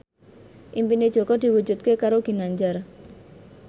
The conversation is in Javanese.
impine Jaka diwujudke karo Ginanjar